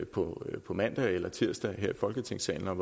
på mandag eller tirsdag her i folketingssalen og